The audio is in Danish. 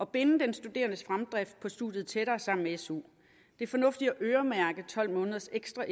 binde den studerendes fremdrift på studiet tættere sammen med su det er fornuftigt at øremærke tolv måneders ekstra